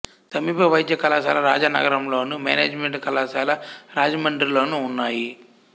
సమీప వైద్య కళాశాల రాజానగరంలోను మేనేజిమెంటు కళాశాల రాజమండ్రిలోనూ ఉన్నాయి